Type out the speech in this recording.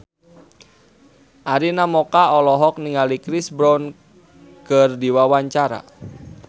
Arina Mocca olohok ningali Chris Brown keur diwawancara